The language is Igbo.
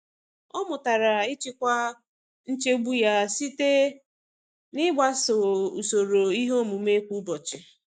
Ọ mụtara ịchịkwa nchegbu ya site n'ịgbaso usoro ihe omume kwa ụbọchị.